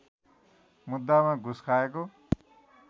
मुद्दामा घुस खाएको